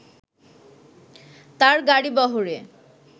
তার গাড়িবহরে